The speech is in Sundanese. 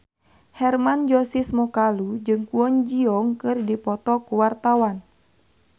Hermann Josis Mokalu jeung Kwon Ji Yong keur dipoto ku wartawan